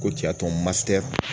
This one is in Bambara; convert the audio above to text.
Ko ca matɛ